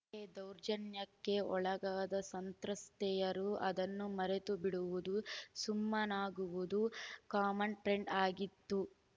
ಹಿಂದೆ ದೌರ್ಜನ್ಯಕ್ಕೆ ಒಳಗಾದ ಸಂತ್ರಸ್ತೆಯರು ಅದನ್ನು ಮರೆತುಬಿಡುವುದು ಸುಮ್ಮನಾಗುವುದು ಕಾಮನ್‌ ಟ್ರೆಂಡ್‌ ಆಗಿತ್ತು